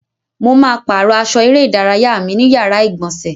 Mo ma pàrọ́ aṣọ eré ìdárayá mi ní yàrá ìgbọ̀nsẹ̀.